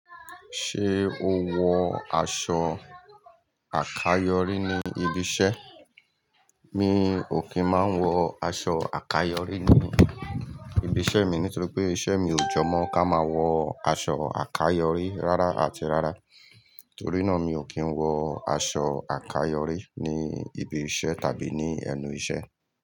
Ṣé o wọ aṣọ àkayòrí ní ibi iṣẹ́? Mi ò kí ń máa ń wọ aṣọ àkayòrí ní ibi iṣẹ́ mi nítorí pé iṣẹ́ mi ò jọ mọ́ kí a máa wọ aṣọ àkayòrí rárá àti rárá. Nítorí náà mi ò kí ń wọ aṣọ àkayòrí ní ibi iṣẹ́ tàbí ní ẹnu iṣẹ́